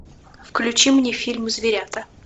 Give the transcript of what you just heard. включи мне фильм зверята